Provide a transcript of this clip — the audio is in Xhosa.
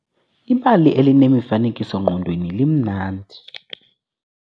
Ibali elinemifanekiso-ngqondweni limnandi.